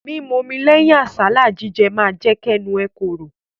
Mímu omi lẹ́yìn àsálà jíjẹ ma jẹ́ kẹ́nu ẹ korò.